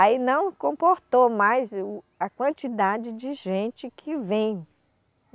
Aí não comportou mais o, a quantidade de gente que vem.